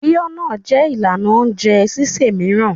Bí ọ́ náà jẹ́ ìlànà oúnjẹ sísè mìíràn.